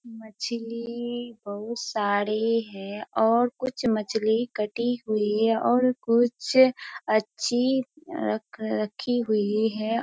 मछली बहुत सारी है और कुछ मछली कटी हुई है और कुछ अ अच्छी रखी हुई है।